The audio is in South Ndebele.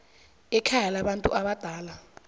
ekhaya labantu abadala